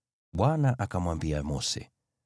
Bwana akamwambia Mose,